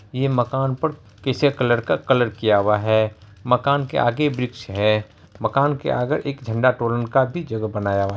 ये मकान पर कैसे कलर का कलर किया हुआ है मकान के आगे वृक्ष है मकान के आगे एक झण्डा तोलन का भी जगह बनाया हुआ--